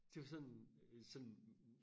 Det var da sådan øh sådan